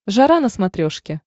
жара на смотрешке